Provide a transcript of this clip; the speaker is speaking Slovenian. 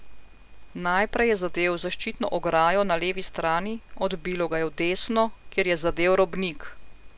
Najprej je zadel v zaščitno ograjo na levi strani, odbilo ga je v desno, kjer je zadel robnik.